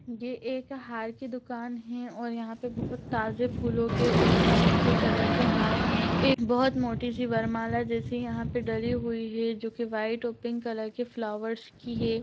ये एक हार की दुकान हे और यहाँ पे बहुत ताज़े फूलो के और बहोत अच्छे कलर के हार हैं एक बहुत मोटी-सी वरमाला जैसी यहाँ पे डली हुई है जो कि वाइट और पिंक कलर के फ्लावर्स की हे।